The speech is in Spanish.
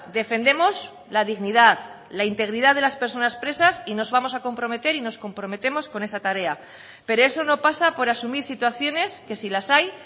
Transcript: defendemos la dignidad la integridad de las personas presas y nos vamos a comprometer y nos comprometemos con esa tarea pero eso no pasa por asumir situaciones que si las hay